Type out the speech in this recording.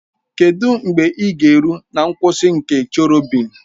Kedụ mgbe ị ga-eru na nkwụsị nke Cherọbịm?